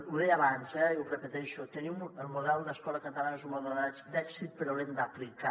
ho deia abans eh i ho repeteixo el model d’escola catalana és un model d’èxit però l’hem d’aplicar